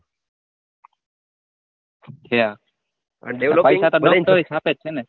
ત્યાં આ દેવલો તો પૈસા ગણી ગણી જ છાપે છે ને.